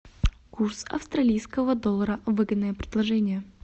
курс австралийского доллара выгодное предложение